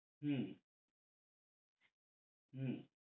হম হম